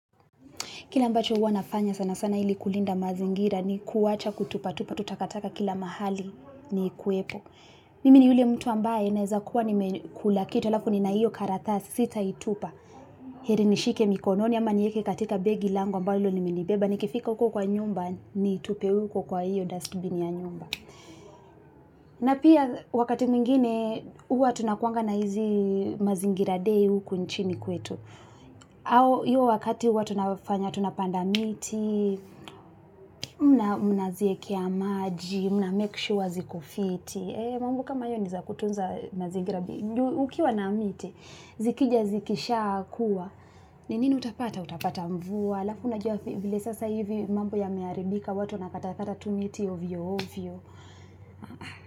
Kile ambacho huwa nafanya sana sana ili kulinda mazingira ni kuwacha kutupa tupa, tu takataka kila mahali ni kuwepo. Mimi ni ule mtu ambaye naeza kuwa nimekula kitu alafu nina iyo karatasi sitaitupa. Heri nishike mikononi ama nieke katika begi lango mbalo ndilo limenibeba. Nikifika uko kwa nyumba niitupe uko kwa iyo dustbin ya nyumba. Na pia wakati mwingine huwa tunakuanga na hizi mazingira day uku nchini kwetu. Au hiyo wakati huwa tunafanya tunapanda miti mna ziekea maji mna make sure ziko fiti mambo kama hayo ni za kutunza mazingira ukiwa na miti zikija zikisha kuwa ninini utapata utapata mvua alafu unajua vile sasa hivi mambo yameharibika watu wanakata kata tu miti ovyo ovyo.